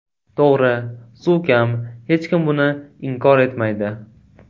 To‘g‘ri, suv kam, hech kim buni inkor etmaydi.